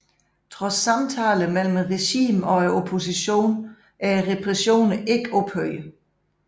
Trods samtaler mellem regimet og oppositionen er repressionerne ikke ophørt